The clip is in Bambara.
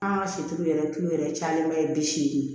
An ka si yɛrɛ kilo yɛrɛ cayalenba ye bi seegin